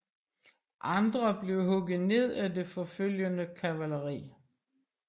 Andre blev hugget ned af det forfølgende kavaleri